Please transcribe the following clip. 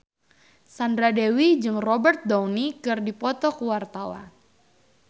Sandra Dewi jeung Robert Downey keur dipoto ku wartawan